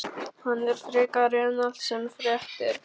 Hann er frekari en allt sem frekt er.